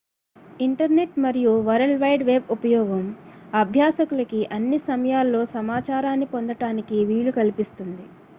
internet మరియు world wide web ఉపయోగం అభ్యసకులకి అన్ని సమయాల్లో సమాచారాన్ని పొందటానికి వీలు కల్పిస్తుంది